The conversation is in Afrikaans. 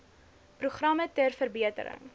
programme ter verbetering